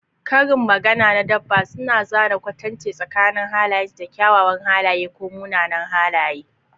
Karin magana na dabba suna zana kwatance tsakanin halayensu da kyawawan halaye ko munanan halaye.